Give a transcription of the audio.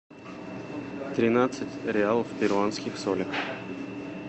тринадцать реалов в перуанских солях